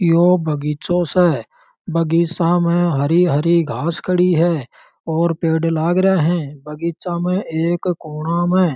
यो बगीचाे से बगीचा में हरी हरी घास खड़ी है और पेड़ लाग रिया है बगीचा में एक कोना में --